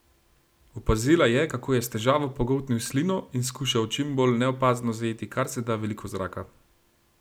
Opazila je, kako je s težavo pogoltnil slino in skušal čim bolj neopazno zajeti karseda veliko zraka.